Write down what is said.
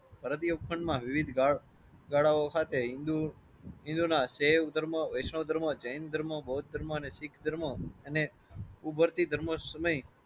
ભારતીય વિવિધ ગાળ ગાળાઓ હાથે હિન્દૂ હિંદુના વૈષ્ણવ ધર્મ જૈન ધર્મ બુદ્ધ ધર્મો અને શીખ ધર્મો અને ઉભરતી ધર્મો સમયે